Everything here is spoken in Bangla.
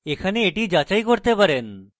আপনি এখানে এটি যাচাই করতে পারেন